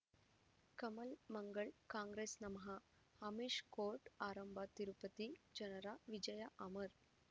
ಕಮಲ್ ಮಂಗಳ್ ಕಾಂಗ್ರೆಸ್ ನಮಃ ಅಮಿಷ್ ಕೋರ್ಟ್ ಆರಂಭ ತಿರುಪತಿ ಜನರ ವಿಜಯ ಅಮರ್